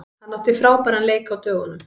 Hann átti frábæran leik á dögunum.